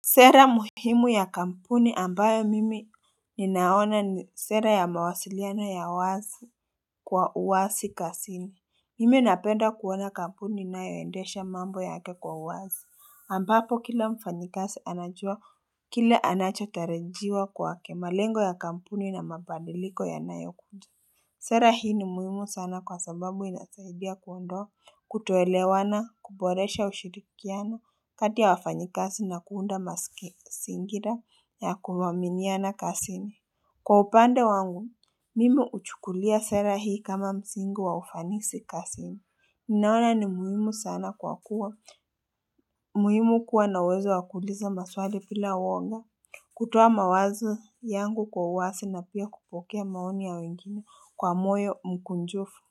Sera muhimu ya kampuni ambayo mimi ninaona ni sera ya mawasiliana ya wazi kwa uwasi kasini Mimi napenda kuwona kampuni inayoendesha mambo yake kwa uwazi ambapo kila mfanyikasi anajua kile anachotarijiwa kwa kemalengo ya kampuni na mabadiliko yanayo kuja Sera hii ni muhimu sana kwa sababu inanisaidia kuondoa, kutoelewana, kuboresha ushirikiano, kati ya wafanyikasi na kuunda masingira ya kuaminiana kasini. Kwa upande wangu, mimi uchukulia sera hii kama mzingo wa ufanisi kasini. Ninaona ni muhimu sana kwa kuwa, muhimu kuwa na uwezo wakuuliza maswali pila uoga. Kutuoa mawazo yangu kwa uwasi na pia kupokea maoni ya wengine kwa moyo mkunjufu.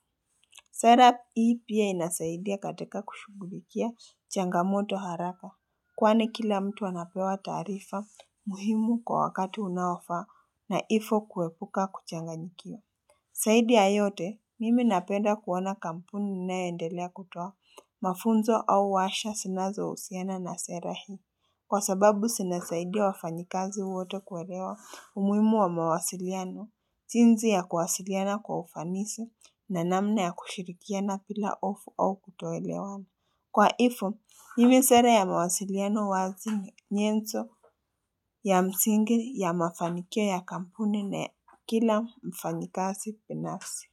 Serap hii pia inasaidia katika kushugulikia changamoto haraka. Kwani kila mtu anapewa taarifa muhimu kwa wakati unaoafa na ifo kuepuka kuchanganyikia. Saidi ya yote mimi napenda kuona kampuni inayoendelea kutoa mafunzo au washa sinazousiana na sera hi. Kwa sababu sinasaidia wafanyikazi wote kuelewa umuhimu wa mawasiliano, jinzi ya kuwasiliana kwa ufanisi na namna ya kushirikiana pila ofu au kutoelewana. Kwa hifo, hivi sera ya mawasiliano wazi nyenzo ya msingi ya mafanikio ya kampuni na kila mfanyikazi pinafsi.